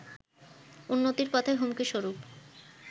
উন্নতির পথে হুমকি স্বরূপ